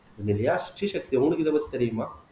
ஜெனிலியா ஸ்ரீ சக்தி உங்களுக்கு இதைப்பத்தி தெரியுமா